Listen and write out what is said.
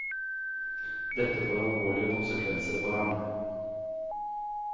Dette får alvorlige konsekvenser for ham.